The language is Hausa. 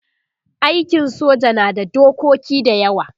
aikin soja na da dokoki da yawa